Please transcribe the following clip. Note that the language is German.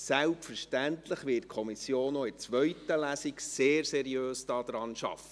Selbstverständlich wird die Kommission auch in der zweiten Lesung sehr seriös arbeiten.